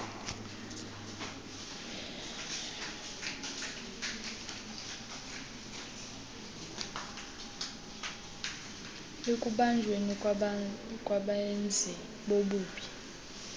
ekubanjweni kwabenzi bobubi